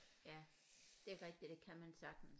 Ja det er rigtigt det kan man sagtens